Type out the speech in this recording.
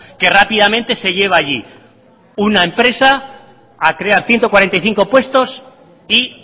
que rápidamente se lleva allí una empresa a crear ciento cuarenta y cinco puestos y